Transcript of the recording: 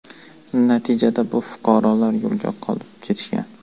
Natijada bu fuqarolar yo‘lda qolib ketishgan.